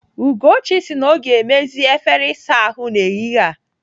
Ugochi sị na ọ ga-emezi efere ịsa ahụ n'ehihie a.